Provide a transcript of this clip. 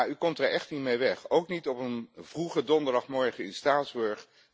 Ja, u komt er echt niet mee weg, ook niet op een vroege donderdagmorgen in Straatsburg.